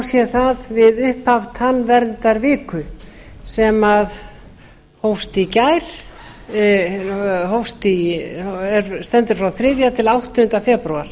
sé það við upphaf tannverndarviku sem hófst í gær stendur frá þriðja til áttunda febrúar